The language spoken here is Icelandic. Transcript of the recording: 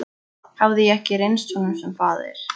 Hafði ég ekki reynst honum sem faðir?